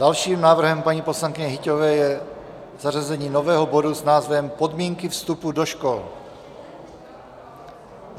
Dalším návrhem paní poslankyně Hyťhové je zařazení nového bodu s názvem Podmínky vstupu do škol.